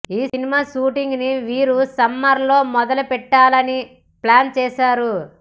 ఈ cinema shooting ని వీరు సమ్మర్ లో మొదలుపెట్టాలని ప్లాన్ చేసారు